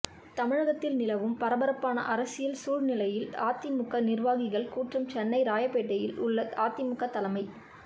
தமிழகத்தில் நிலவும் பரபரப்பான அரசியல் சூழ்நிலையில் அதிமுக நிர்வாகிகள் கூட்டம் சென்னை ராயப்பேட்டையில் உள்ள அதிமுக தலைமை